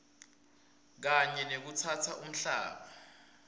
kanye nekutsatsa umhlaba